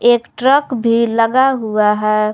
एक ट्रक भी लगा हुआ है।